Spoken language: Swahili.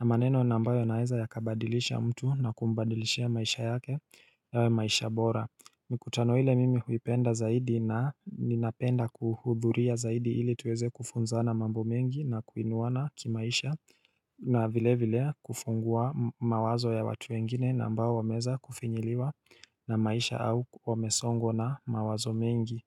na maneno na ambayo yanaweza kabadilisha mtu na kumbadilisha maisha yake yawe maisha bora Mikutano ile mimi huipenda zaidi na ninapenda kuhudhuria zaidi ili tuweze kufunza na mambo mengi na kuinuwana kimaisha na vile vile kufungua mawazo ya watu wengine na ambao wameweza kufinyiliwa na maisha au wamesongwa na mawazo mengi.